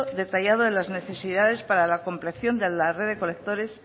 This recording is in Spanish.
detallado de las necesidades para la de la red de colectores